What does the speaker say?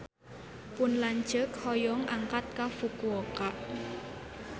Pun lanceuk hoyong angkat ka Fukuoka